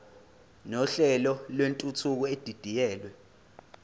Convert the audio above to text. nohlelo lwentuthuko edidiyelwe